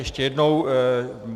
Ještě jednou.